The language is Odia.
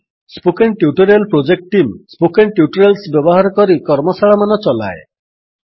spoken tutorial project team spoken tutorials ବ୍ୟବହାର କରି କର୍ମଶାଳାମାନ ଚଲାଏ